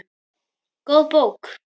Góð bók.